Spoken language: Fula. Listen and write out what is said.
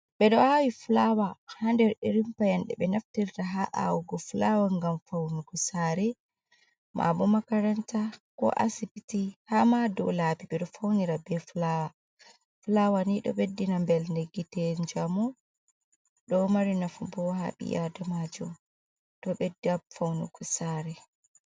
Ɓeɗo awi fulawa ha nder irin paanɗe be naftirta ha awugo fulawa gam faunugo sare, ma'abo makaranta, ko asibiti hama dou labi ɓeɗo faunira be fulawa, fulawa ni ɗo ɓeddina mbelde gite jamu ɗo mari nafu bo ha ɓiadamajo ɗo ɓedda faunugo sare.